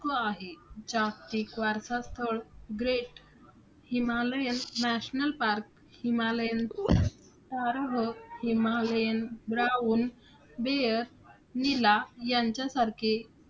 आहे. जागतिक वारसास्थळ great Himalayan national park, Himalayan , Himalayan brown bear नीला यांच्यासारखे